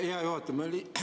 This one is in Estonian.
Hea juhataja!